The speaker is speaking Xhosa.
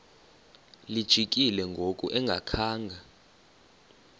lijikile ngoku engakhanga